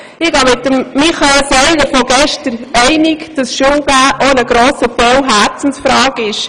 Ich gehe mit Michael Seilers Votum von gestern einig, dass das Unterrichten auch zu einem grossen Teil eine Herzensfrage ist.